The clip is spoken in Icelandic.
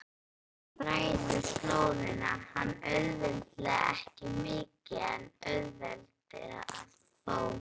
Strákurinn þræðir slóðina, hún auðveldar ekki mikið en auðveldar þó.